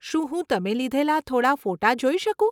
શું હું તમે લીધેલાં થોડાં ફોટાં જોઈ શકું?